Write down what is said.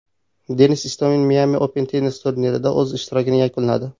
Denis Istomin Miami Open tennis turnirida o‘z ishtirokini yakunladi.